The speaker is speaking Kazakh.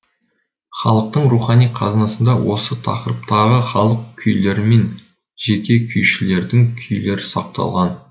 халықтың рухани қазынасында осы тақырыптағы халық күйлері мен жеке күйшілердің күйлері сақталған